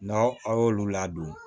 N'aw a y'olu ladon